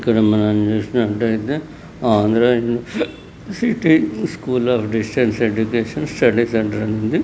Andhra university school of distance education study centre అని ఉంది.